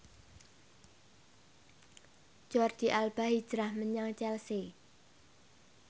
Jordi Alba hijrah menyang Chelsea